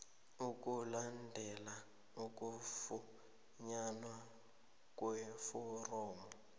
ukulandela ukufunyanwa kweforomo